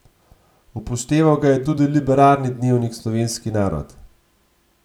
Upošteval ga je tudi liberalni dnevnik Slovenski narod.